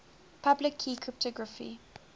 public key cryptography